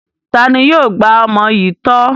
Ta ni yóò gba ọmọ yìí tọ́?